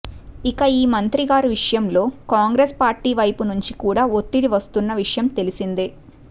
ఇక ఈ మంత్రిగారి విషయంలో కాంగ్రెస్ పార్టీ వైపు నుంచి కూడా ఒత్తిడి వస్తున్న విషయం తెలిసిందే